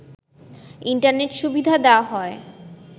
internet সুবিধা দেয়া হয়